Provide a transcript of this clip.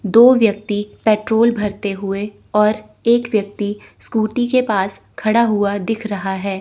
दो व्यक्ति पेट्रोल भरते हुए और एक व्यक्ति स्कूटी के पास खड़ा हुआ दिख रहा है।